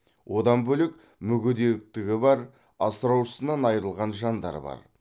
одан бөлек мүгедектігі бар асыраушысынан айырылған жандар бар